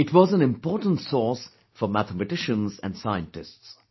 It was an important source for mathematicians and scientists